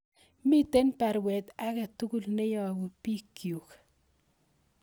Miten baruet agetugul neyobu piikyuk